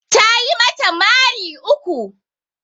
Tayi mata mari uku